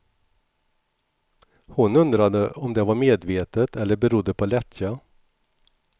Hon undrade om det var medvetet eller berodde på lättja.